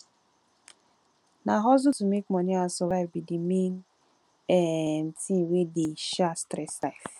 na hustle to make money and survive be di main um thing wey dey um stress life